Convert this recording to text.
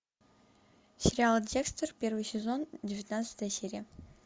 сериал декстер первый сезон девятнадцатая серия